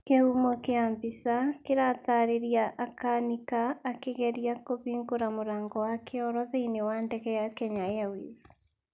Kĩhumo kĩa mbica kiratarĩria akanika akĩgeria kũhingũra mũrango wa kĩoro thĩinĩ wa ndege ya Kenya Airways.